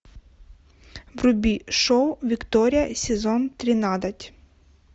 вруби шоу виктория сезон тринадцать